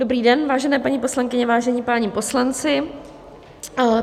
Dobrý den, vážené paní poslankyně, vážení páni poslanci.